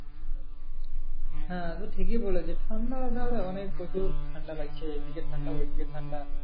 হ্যাঁ তুই ঠিকই বলেছিস ঠান্ডা ধর অনেক প্রচুর ঠান্ডা বাড়ছে এইদিকে ঠান্ডা ওইদিকে ঠান্ডা।